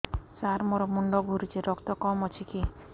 ସାର ମୋର ମୁଣ୍ଡ ଘୁରୁଛି ରକ୍ତ କମ ଅଛି କି